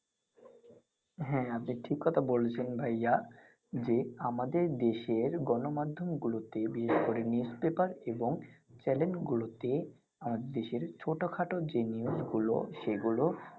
হ্যাঁ আপনি ঠিক কথা বলেছেন ভাইয়া যে আমাদের দেশের গণ মাধ্যম গুলোতে বিশেষ করে newspaper এবং channel গুলোতে আমাদের দেশের ছোট খাটো যে news গুলো সেগুলো